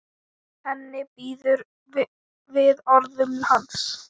Henni býður við orðum hans.